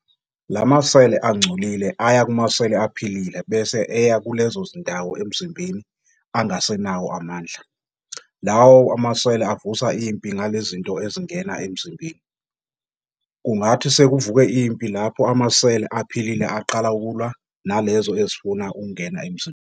Lama seli angcolile aya kumaseli aphilile bese aya kulezo zindawo emzimbeni angasenawo amandla, lawo maseli avusa impi ngalezinto ezingena emzimbeni. Kungathi sekuvuke impi lapho amaseli aphilile aqala ukulwa nalezo ezifuna ukungena emzimbeni.